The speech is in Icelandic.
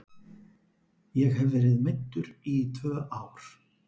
Ég hef verið meiddur í tvö ár.